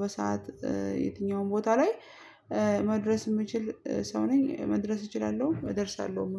በሰአት የትኛውም ቦታ ላይ መድረስ የምችል ሰው ነኝ፤ መድረስ እችላለሁ እደርሳለሁም።